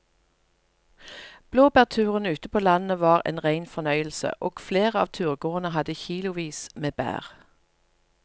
Blåbærturen ute på landet var en rein fornøyelse og flere av turgåerene hadde kilosvis med bær.